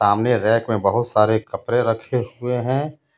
तामने rack मे बहुत सारे कपडे रखे हुए हे.